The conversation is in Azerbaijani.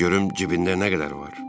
De görüm cibində nə qədər var?